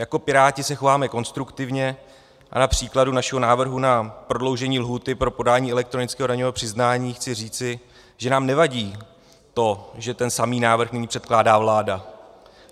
Jako Piráti se chováme konstruktivně a na příkladu našeho návrhu na prodloužení lhůty pro podání elektronického daňového přiznání chci říci, že nám nevadí to, že ten samý návrh nyní předkládá vláda.